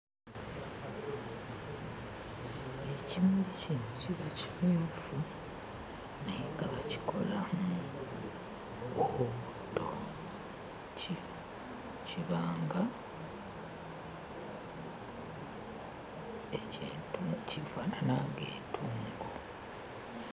Ekimuli kino kiba kimyufu naye nga bakikola mu obutto, ki kiba nga eky'entu..kifaanana ng'entungo.